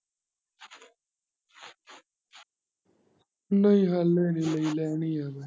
ਨਹੀਂ ਹਾਲੇ ਨੀ ਲਈ ਲੈਣੀ ਆ।